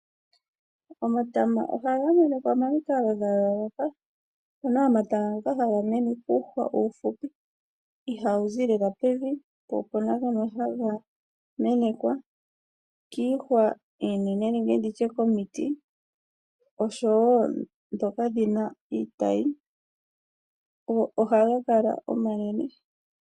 Omatama ohaga mene pamikalo dha yooloka. Opuna omatama ngoka haga mene puuhwa uufupi ihawu zi lela pevi po opuna ngoka haga menekwa kiihwa iinene nenge nditye pomiti oshowo dhoka dhina iitayi, go ohaga kala omanene.